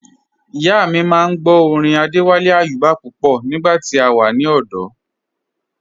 Ìyà mi máa n gbọ̀ orin Adéwálé Ayúbà pupọ̀ nígba tí a wà ní ọdò